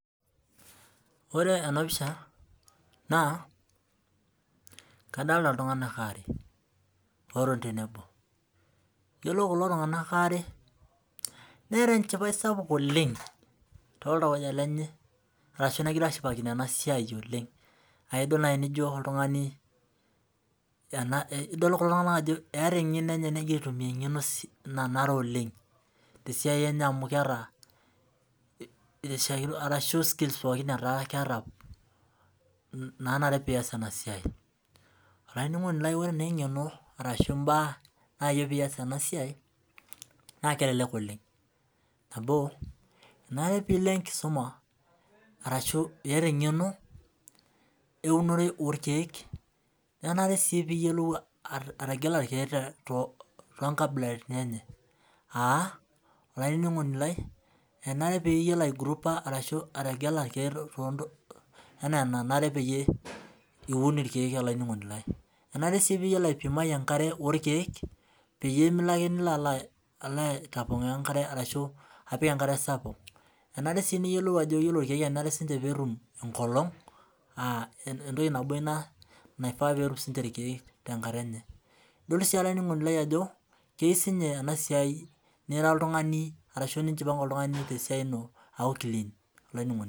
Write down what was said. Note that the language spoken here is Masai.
Ore ena pisha naa kadolita iltung'ana are otoni tenebo ore kulo tung'ana are netaa enchipai sapuk oleng too iltauja lenye ashu negira ashipakino ena siai oleng aa edol nijo edol ajoo etaa kulo tung'ana eng'eno negira aitumia eng'eno nanare oleng tesiai enye amu keeta skills pookin nanare pee eas ena siai ore naa eng'eno arashu mbaa nayieu pee eas ena siai naa kelelek oleng amu enare pee elo enkisuma ashu eyata eng'eno ewunore oo irkeek menare sii niyiolou ategela irkeek too nkabilaritin enye aa enare pee eyiolou aigroupa irkeek ashu ategela irkeek ena enanare pee Eun irkeek enare siipiu eyiolo aipima enkare orkeek pee Milo ake nilo alo aitapongooo enkare ashu alo apik enkare sapuk enare sii niyiolou Ajo ore irkeek enare netum enkolong aa entoki nabo ena naifaa pee etum siniche irkeek tenkata enye edol sii Ajo keyieu sininye enasiai niara oltung'ani ashu nijipange oltung'ani tesiai eno aakuu clean